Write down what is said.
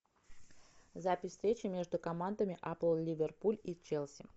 запись встречи между командами апл ливерпуль и челси